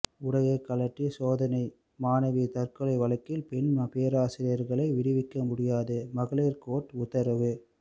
உடையை கழற்றி சோதனை மாணவி தற்கொலை வழக்கில் பெண் பேராசிரியர்களை விடுவிக்க முடியாது மகளிர் கோர்ட்டு உத்தரவு